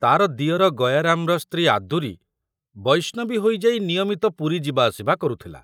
ତାର ଦିଅର ଗୟାରାମର ସ୍ତ୍ରୀ ଆଦୁରୀ ବୈଷ୍ଣବୀ ହୋଇଯାଇ ନିୟମିତ ପୁରୀ ଯିବା ଆସିବା କରୁଥିଲା।